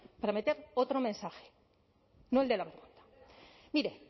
para meter otro mensaje no el de la verdad mire